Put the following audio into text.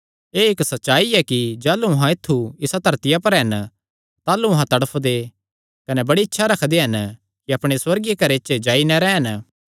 एह़ इक्क सच्चाई ऐ कि जाह़लू अहां ऐत्थु इसा धरतिया पर हन ताह़लू अहां तड़फदे कने बड़ी इच्छा रखदे हन कि अपणे सुअर्गीय घरे च जाई नैं रैह़न